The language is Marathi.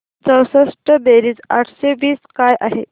चौसष्ट बेरीज आठशे वीस काय आहे